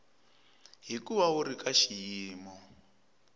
hikuva wu ri ka xiyimo